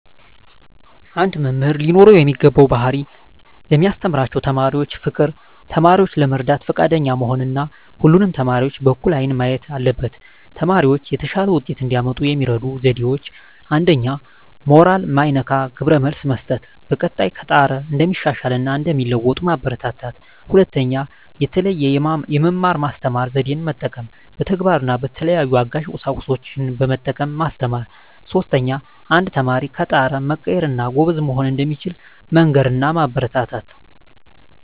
አንድ መምህር ሊኖረው የሚገባው ባህሪ ለሚያስተምራቸው ተማሪዎች ፍቅር፣ ተማሪዎችን ለመርዳት ፈቃደኛ መሆን እና ሁሉንም ተማሪዎች በእኩል አይን ማየት አለበት። ተማሪዎች የተሻለ ውጤት እንዲያመጡ የሚረዱ ዜዴዎች 1ኛ. ሞራል ማይነካ ግብረ መልስ መስጠት፣ በቀጣይ ከጣረ እንደሚሻሻል እና እንደሚለዎጡ ማበራታታት። 2ኛ. የተለየ የመማር ማስተማር ዜዴን መጠቀም፣ በተግባር እና በተለያዩ አጋዥ ቁሳቁሶችን በመጠቀም ማስተማር። 3ኛ. አንድ ተማሪ ከጣረ መቀየር እና ጎበዝ መሆን እንደሚችል መንገር እና ማበረታታት።